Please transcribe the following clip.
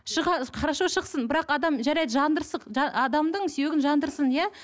хорошо шықсын бірақ адам жарайды адамның сүйегін жандырсын иә